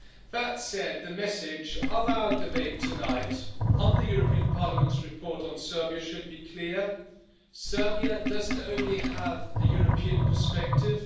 That said, the message of our debate tonight on the European Parliament's report on Serbia should be clear Serbia doesn't only have a European perspective